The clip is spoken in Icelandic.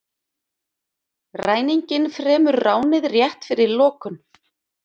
Ræninginn fremur ránið rétt fyrir lokun